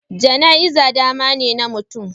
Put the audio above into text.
Jana'iza damane na mutum